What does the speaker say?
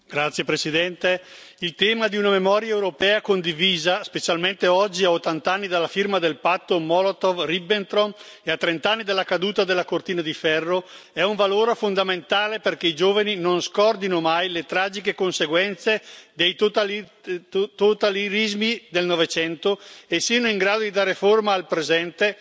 Signora Presidente, onorevoli colleghi, il tema di una memoria europea condivisa specialmente oggi, a 80 anni dalla firma del patto Molotov Ribbentrop e a 30 anni dalla caduta della cortina di ferro è un valore fondamentale perché i giovani non scordino mai le tragiche conseguenze dei totalitarismi del Novecento e siano in grado di dare forma al presente,